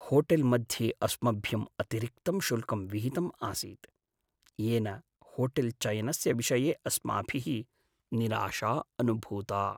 होटेल्मध्ये अस्मभ्यम् अतिरिक्तं शुल्कं विहितम् आसीत्, येन होटेल्चयनस्य विषये अस्माभिः निराशा अनुभूता।